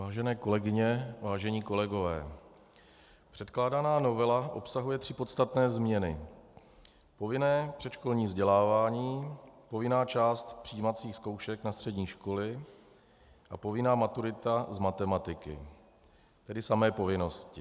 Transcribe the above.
Vážené kolegyně, vážení kolegové, předkládaná novela obsahuje tři podstatné změny - povinné předškolní vzdělávání, povinná část přijímacích zkoušek na střední školy a povinná maturita z matematiky, tedy samé povinnosti.